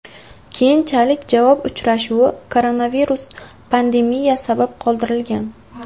Keyinchalik javob uchrashuvi koronavirus pandemiya sabab qoldirilgan.